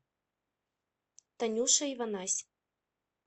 танюша иванась